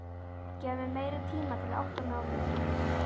Gefðu mér meiri tíma til að átta mig á hlutunum.